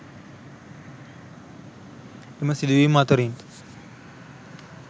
එම සිදුවීම් අතරින්